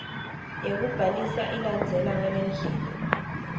yekubhalisa ilandzela ngalendlela